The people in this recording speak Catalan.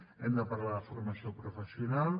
hem de parlar de la formació professional